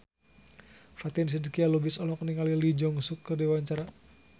Fatin Shidqia Lubis olohok ningali Lee Jeong Suk keur diwawancara